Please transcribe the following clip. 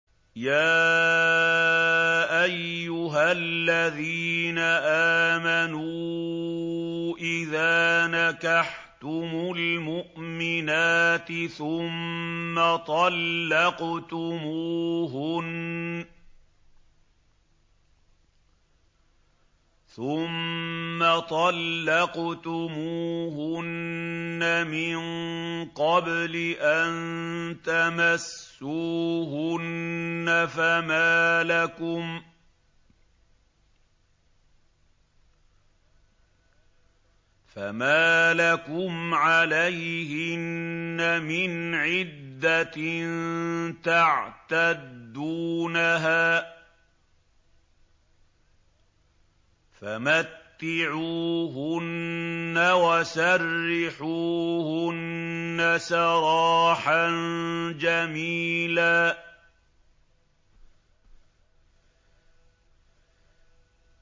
يَا أَيُّهَا الَّذِينَ آمَنُوا إِذَا نَكَحْتُمُ الْمُؤْمِنَاتِ ثُمَّ طَلَّقْتُمُوهُنَّ مِن قَبْلِ أَن تَمَسُّوهُنَّ فَمَا لَكُمْ عَلَيْهِنَّ مِنْ عِدَّةٍ تَعْتَدُّونَهَا ۖ فَمَتِّعُوهُنَّ وَسَرِّحُوهُنَّ سَرَاحًا جَمِيلًا